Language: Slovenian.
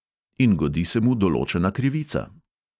In godi se mu določena krivica.